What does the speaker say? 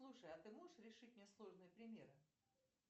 слушай а ты можешь решить мне сложные примеры